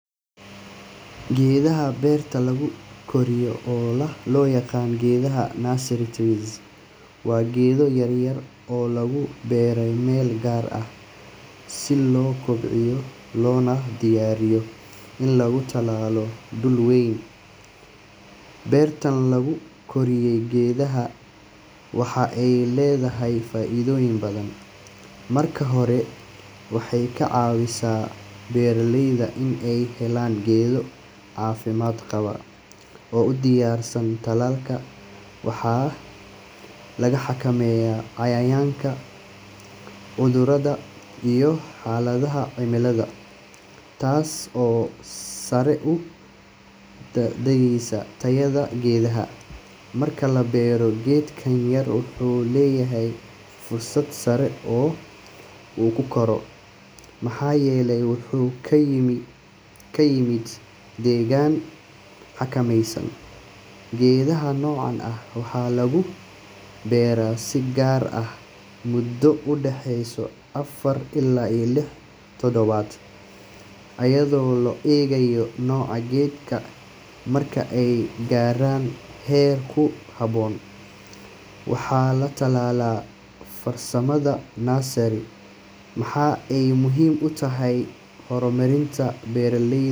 Geedaha beerta lagu koriyo, oo loo yaqaan geedaha nursery trees, waa geedo yaryar oo lagu beeray meel gaar ah si loo kobciyo loona diyaariyo in lagu tallaalo dhul weyn. Beertan lagu koriyo geedaha waxa ay leedahay faa’iidooyin badan. Marka hore, waxay ka caawisaa beeraleyda in ay helaan geedo caafimaad qaba oo u diyaarsan tallaalka. Waxaa la xakameeyaa cayayaanka, cudurrada, iyo xaaladaha cimilada, taas oo sare u qaadaysa tayada geedaha. Marka la beero, geedkan yar wuxuu leeyahay fursad sare oo uu ku koro maxaa yeelay wuxuu ka yimid deegaan xakameysan. Geedaha noocan ah waxaa lagu beeraa si gaar ah muddo u dhexeysa afar ilaa lix toddobaad iyadoo la eegayo nooca geedka. Marka ay gaaraan heer ku habboon, waxa la tallaalaa. Farsamada nursery waxa ay muhiim u tahay horumarinta beeralayda.